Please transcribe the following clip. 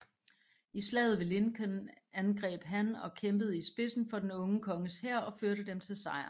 I Slaget ved Lincoln angreb han og kæmpede i spidsen for den unge konges hær og førte dem til sejr